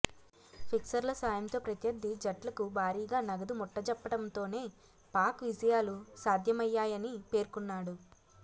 ఫిక్సర్ల సాయంతో ప్రత్యర్ధి జట్లకు భారీగా నగదు ముట్టజెప్పడంతోనే పాక్ విజయాలు సాధ్యమయ్యాయని పేర్కొన్నాడు